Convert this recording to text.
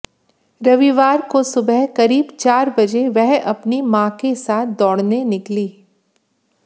रविवार को सुबह करीब चार बजे वह अपनी मां के साथ दौड़ने निकली